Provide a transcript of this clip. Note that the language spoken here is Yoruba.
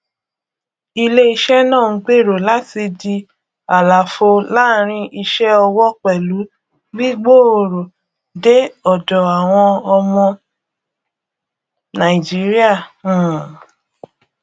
iléiṣẹ náà ń gbèrò láti di àlàfo láàrin iṣẹ owó pẹlú gbígbòòrò dé ọdọ àwọn ọmọ nàìjíríà um